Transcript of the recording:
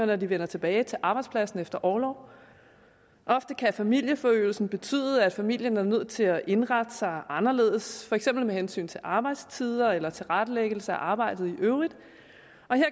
når de vender tilbage til arbejdspladsen efter orlov ofte kan familieforøgelsen betyde at familien er nødt til at indrette sig anderledes for eksempel med hensyn til arbejdstider eller tilrettelæggelse af arbejdet i øvrigt